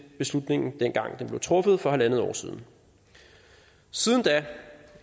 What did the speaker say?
beslutningen dengang den blev truffet for en en halv år siden siden da